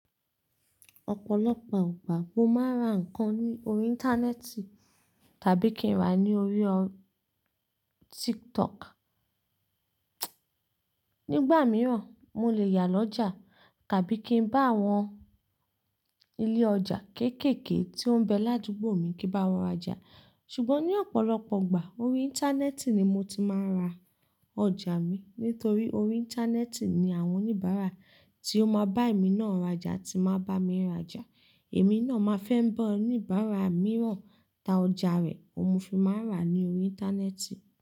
Ọ̀pọ̀lọpọ̀ ìgbà mo máa ń ra nǹkan lórí Íńtánẹ́ẹ̀tì tàbí kí n rá ní orí Tiktok. Nígbà mìíràn, mo lè yà lọ́jà tàbí kí n bá àwọn ilé ọjà kéékèèké tí ó ń bẹ ládúgbò mi kí n bá wọn rajà. Ṣùgbọ́n ní ọ̀pọ̀lọpọ̀ ìgbà, orí Íńtánẹ́ẹ̀tì ni mo ti máa ń ra ọjà mi. Nítorí orí Íńtánẹ́ẹ̀tì ni àwọn oníbàárà tí ó máa bá èmi náà rajà ti máa ń bá mi rajà. Èmi náà máa fẹ́ ń bá oníbàárà mìíràn ta ọjà rẹ̀, óun ni mo fi máa ń rà á ní orí Íńtánẹ́ẹ̀tì.